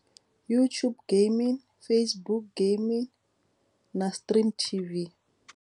YouTube gaming, Facebook gaming na STREAM.tv.